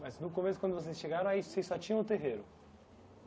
Mas no começo, quando vocês chegaram, aí vocês só tinham o terreiro?